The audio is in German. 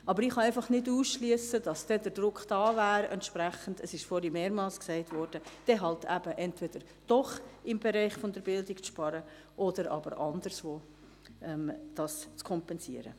Aber ich kann einfach nicht ausschliessen, dass ein entsprechender Druck entstehen wird – es ist vorhin mehrmals gesagt worden –, dann entweder doch im Bereich der Bildung zu sparen oder aber es anderswo zu kompensieren.